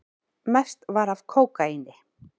Mest var af kókaíni.